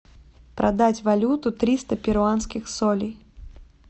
продать валюту триста перуанских солей